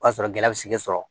O y'a sɔrɔ gɛlɛya bɛ segi sɔrɔ